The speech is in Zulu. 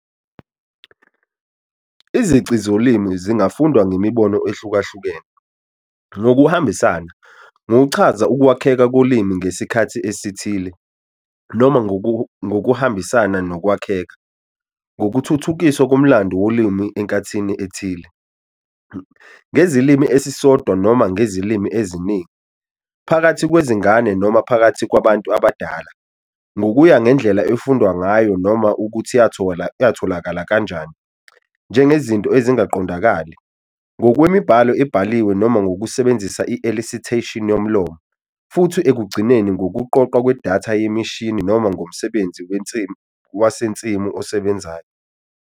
Izici zolimi zingafundwa ngemibono ehlukahlukene - ngokuhambisana, ngokuchaza ukwakheka kolimi ngesikhathi esithile, noma ngokuhambisana nokwakheka, ngokuthuthukiswa komlando wolimi enkathini ethile, ngezilimi esisodwa noma ngezilimi eziningi, phakathi kwezingane noma phakathi kwabantu abadala, ngokuya ngendlela efundwayo ngayo noma ukuthi yatholakala kanjani, njengezinto ezingaqondakali, ngokwemibhalo ebhaliwe noma ngokusebenzisa i-elicitation yomlomo, futhi ekugcineni ngokuqoqwa kwedatha yemishini noma ngomsebenzi wasensimu osebenzayo.